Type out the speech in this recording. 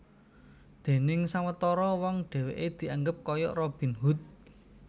Déning sawetara wong dhèwèké dianggep kaya Robin Hood